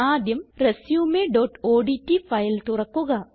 ആദ്യം resumeഓഡ്റ്റ് ഫയൽ തുറക്കുക